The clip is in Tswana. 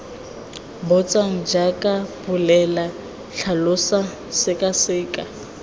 botsang jaaka bolela tlhalosa sekaseka